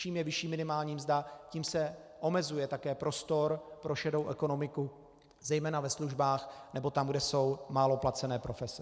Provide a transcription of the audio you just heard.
Čím vyšší je minimální mzda, tím se omezuje také prostor pro šedou ekonomiku, zejména ve službách nebo tam, kde jsou málo placené profese.